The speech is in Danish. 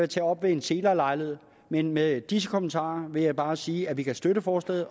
tage op ved en senere lejlighed med med disse kommentarer vil jeg bare sige at vi kan støtte forslaget